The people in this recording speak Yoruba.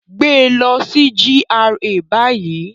Gbe lọ si GRA bayi!